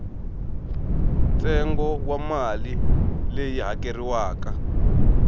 ntsengo wa mali leyi hakeriwaka